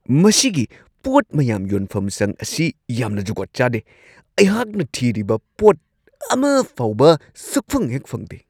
ꯃꯁꯤꯒꯤ ꯄꯣꯠ ꯃꯌꯥꯝ ꯌꯣꯟꯐꯝꯁꯪ ꯑꯁꯤ ꯌꯥꯝꯅ ꯖꯨꯒꯣꯠ ꯆꯥꯗꯦ ꯫ ꯑꯩꯍꯥꯛꯅ ꯊꯤꯔꯤꯕ ꯄꯣꯠ ꯑꯃꯐꯥꯎꯕ ꯁꯨꯛꯐꯪ ꯍꯦꯛ ꯐꯪꯗꯦ ꯫